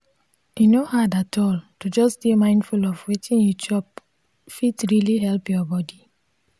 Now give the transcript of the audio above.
e no hard atall to just dey mindful of wetin you chop fit really help ur bodi.